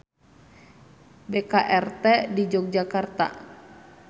BKRT di Yogyakarta.